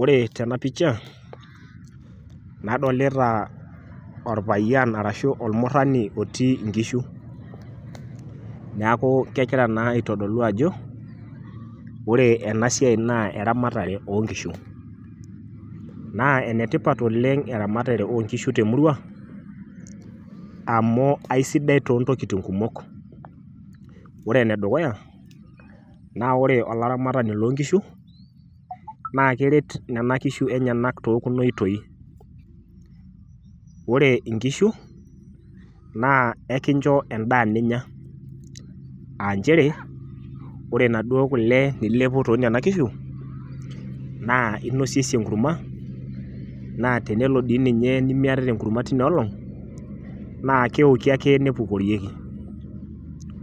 Ore tena picha nadolita orpayian arashu ormurani otii inkishu, niaku kegira naa aitodolu ajo ore ena siai naa eramatare oonkishu . Naa ene tipat eramatare oonkishu te murua amu aisidai too ntokitin kumok. Ore ene dukuya naa ore olaramatani loo nkishu naa keret inkishu enyenak too kuna oitoi. Ore inkishu naa ekincho endaa ninya, aa nchere ore naduoo kule nilepu toonaduo kishu, naa inosiesie enkurma naa tenelo di ninye nimiatata enkurma tina olong naa keoki ake nepukorieki .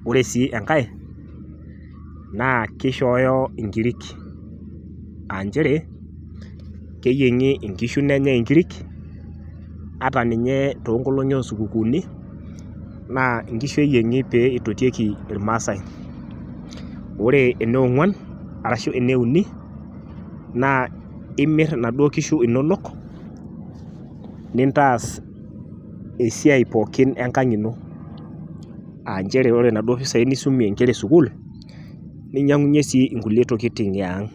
Ore sii enkae naa kishooyo inkirik, aa nchere keyiengi inkishu nenyae inkirik ata ninye too nkolongi osupukuuni naa nkishu eyiengi pee itotieki irmaasae. Ore eniongwan arashu eneuni naa imir inaduoo kishu nintaas esiai pookin enkang ino aa nchere ore inaduo pisai nisumie inkera esukuul ninyiangunyie sii kulie tokitin eang.